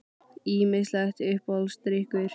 Ýmislegt Uppáhaldsdrykkur?